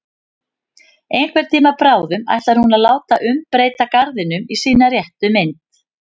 Einhvern tíma bráðum ætlar hún að láta umbreyta garðinum í sína réttu mynd.